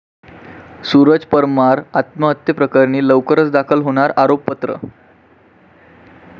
सूरज परमार आत्महत्येप्रकरणी लवकरच दाखल होणार आरोपपत्र